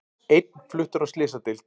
Einn fluttur á slysadeild